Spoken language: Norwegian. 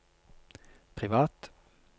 privat